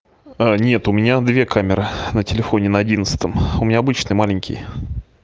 нет у меня две камеры на телефоне на одиннадцатом у меня обычный маленький